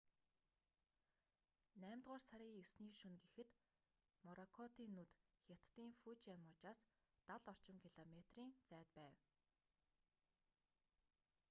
наймдугаар сарын 9-ний шөнө гэхэд моракотын нүд хятадын фужиан мужаас дал орчим километрийн зайд байв